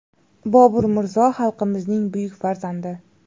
Bobur Mirzo xalqimizning buyuk farzandi.